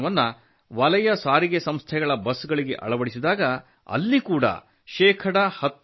ಈ ತಂತ್ರಜ್ಞಾನವನ್ನು ವಲಯ ಸಾರಿಗೆ ಸಂಸ್ಥೆಗಳ ಬಸ್ ಗಳಿಗೆ ಅಳವಡಿಸಿದಾಗ ಅಲ್ಲಿ ಶೇ